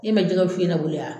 Ne ma jɛgɛ wusu ne bolo yan